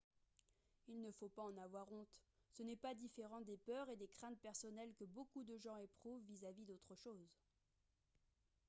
il ne faut pas en avoir honte ce n'est pas différent des peurs et des craintes personnelles que beaucoup de gens éprouvent vis-à-vis d'autres choses